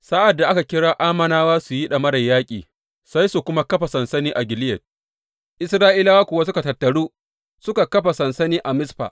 Sa’ad da aka kira Ammonawa su yi ɗamarar yaƙi, sai su kuma kafa sansani a Gileyad, Isra’ilawa kuwa suka tattaru suka kafa sansani Mizfa.